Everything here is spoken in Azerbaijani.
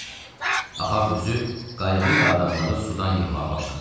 Ahav özü qayığı ilə adamları sudan yığmağa başladı.